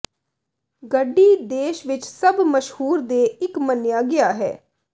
ਗੜ੍ਹੀ ਦੇਸ਼ ਵਿੱਚ ਸਭ ਮਸ਼ਹੂਰ ਦੇ ਇੱਕ ਮੰਨਿਆ ਗਿਆ ਹੈ